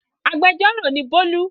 Agbẹjọ́rò ni Bólú.